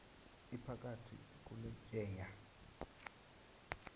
iphakathi kule tyeya